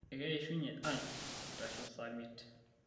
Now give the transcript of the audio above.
ekishunye ang' eitasho saa miet